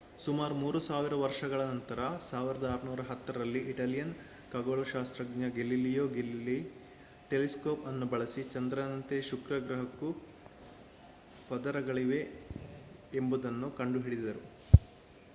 ಸುಮಾರು 3 ಸಾವಿರ ವರ್ಷಗಳ ನಂತರ 1610 ರಲ್ಲಿ ಇಟಾಲಿಯನ್ ಖಗೋಳಶಾಸ್ತ್ರಜ್ಞ ಗೆಲಿಲಿಯೋ ಗೆಲಿಲೈ ಟೆಲಿಸ್ಕೋಪ್ ಅನ್ನು ಬಳಸಿ ಚಂದ್ರನಂತೆಯೇ ಶುಕ್ರ ಗ್ರಹಕ್ಕೂ ಪದರಗಳಿವೆ ಎಂಬುದನ್ನು ಕಂಡುಕೊಂಡರು